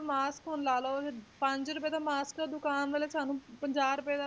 Mask ਹੁਣ ਲਾ ਲਓ ਪੰਜ ਰੁਪਏ ਦਾ mask ਦੁਕਾਨ ਵਾਲੇ ਸਾਨੂੰ ਪੰਜਾਹ ਰੁਪਏ ਦਾ,